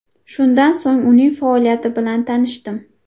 Shundan so‘ng uning faoliyati bilan tanishdim.